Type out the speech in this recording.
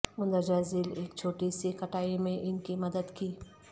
مندرجہ ذیل ایک چھوٹی سی کٹائی میں ان کی مدد کی